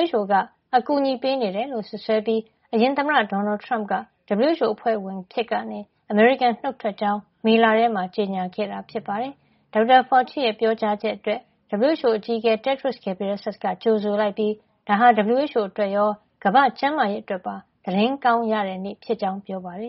WHO က အကူညီပေးနေတယ်လို့စွပ်စွဲပြီး အရင်သမ္မတ ဒေါ်နယ်ထရမ့်က WHO အဖွဲ့ဝင်အဖြစ်ကနေ အမေရိကန်နှုတ်ထွက်ကြောင်း မေလထဲမှာ ကြေညာခဲ့တာ ဖြစ်ပါတယ်။ ဒေါက်တာ Fauci ရဲ့ ပြောကြားချက်အတွက် WHO အကြီးအကဲ Tedros Adhanom Ghebreyesus က ကြိုဆိုလိုက် ပြီး ဒါဟာ WHO အတွက်ရော ကမ္ဘာ့ကျန်းမာရေးအတွက်ပါ သတင်းကောင်းရတဲ့ နေ့ဖြစ်ကြောင်း ပြောပါတယ်။